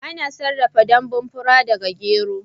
Ana sarrafa danbun fura daga gyero